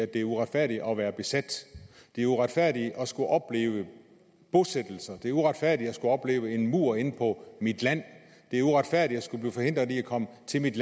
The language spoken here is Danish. det er uretfærdigt at være besat det er uretfærdigt at skulle opleve bosættelser det er uretfærdigt at skulle opleve en mur inde på ens land det er uretfærdigt at skulle blive forhindret i at komme til ens